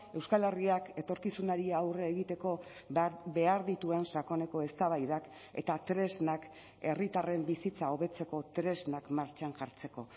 euskal herriak etorkizunari aurre egiteko behar dituen sakoneko eztabaidak eta tresnak herritarren bizitza hobetzeko tresnak martxan jartzeko